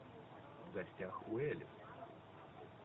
в гостях у элис